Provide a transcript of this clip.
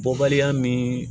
Bɔbaliya min